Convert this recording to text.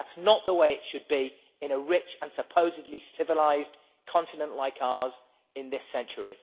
That is not the way it should be in a rich and supposedly civilised continent like ours in this century.